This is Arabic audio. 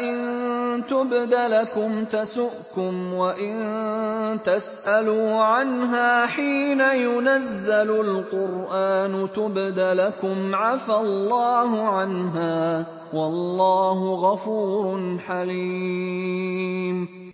إِن تُبْدَ لَكُمْ تَسُؤْكُمْ وَإِن تَسْأَلُوا عَنْهَا حِينَ يُنَزَّلُ الْقُرْآنُ تُبْدَ لَكُمْ عَفَا اللَّهُ عَنْهَا ۗ وَاللَّهُ غَفُورٌ حَلِيمٌ